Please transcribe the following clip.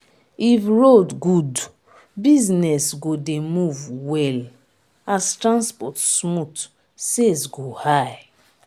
if road good business go dey move well as transport smooth sales go high